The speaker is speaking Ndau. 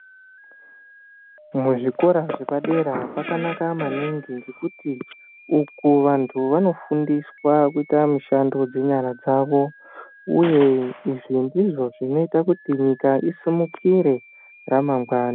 Muzvikora zvepadera kwakanaka maningi ngekuti uku vanthu vanofundiswa kuita mishando dzenyara dzavo uye izvi ndizvo zvinoita kuti nyika isimukire ramangwana.